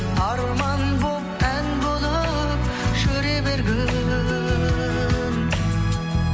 арман болып ән болып жүре бергін